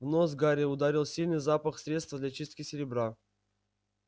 в нос гарри ударил сильный запах средства для чистки серебра